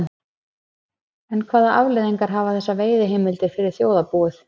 En hvaða afleiðingar hafa þessar veiðiheimildir fyrir þjóðarbúið?